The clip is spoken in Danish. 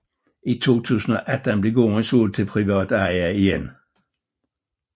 I 2018 blev gården solgt til privat eje igen